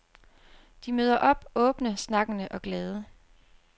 De møder op åbne, snakkende og glade.